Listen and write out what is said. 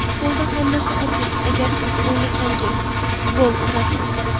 Futbolda hammasi oddiy: agar siz o‘ynasangiz, gol urasiz.